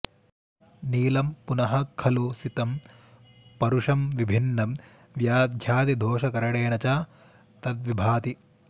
नीलं पुनः खलु सितं परुषं विभिन्नं व्याध्यादिदोषकरणेन च तद्विभाति